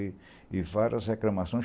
E e várias reclamações.